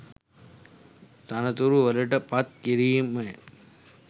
තනතුරු වලට පත් කිරීමය